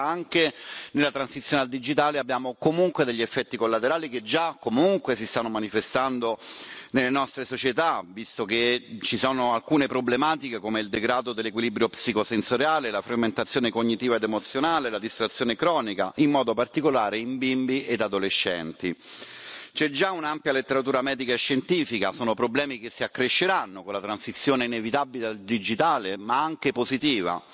Anche nella transizione al digitale abbiamo degli effetti collaterali che già si stanno manifestando nelle nostre società, visto che ci sono alcune problematiche come il degrado dell'equilibrio psicosensoriale, la frammentazione cognitiva ed emozionale, la distrazione cronica, in modo particolare in bimbi e adolescenti c'è già un'ampia letteratura medica e scientifica sono problemi che si accresceranno con la transizione inevitabile al digitale, che però è anche positiva.